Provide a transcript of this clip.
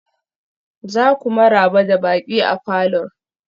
za ku maraba da baƙi a falor?